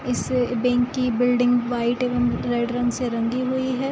इस बेंक की building white एवं रेड रंग से रंगी हुई है ।